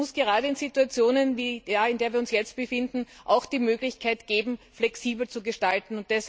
Aber es muss gerade in Situationen wie der, in der wir uns jetzt befinden, auch die Möglichkeit geben, flexibel zu gestalten.